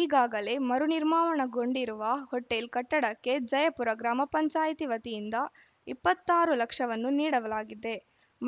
ಈಗಾಗಲೇ ಮರುನಿರ್ಮಾವಣಗೊಂಡಿರುವ ಹೋಟೆಲ್‌ ಕಟ್ಟಡಕ್ಕೆ ಜಯಪುರ ಗ್ರಾಮ ಪಂಚಾಯತ್ ವತಿಯಿಂದ ಇಪ್ಪತ್ತ್ ಆರು ಲಕ್ಷವನ್ನು ನೀಡಲಾಗಿದೆ